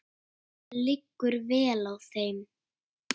Það liggur vel á þeim.